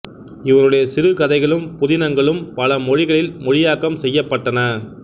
இவருடைய சிறு கதைகளும் புதினங்களும் பல மொழிகளில் மொழியாக்கம் செய்யப்பட்டன